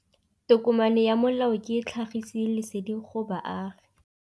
Tokomane ya molao ke tlhagisi lesedi go baagi.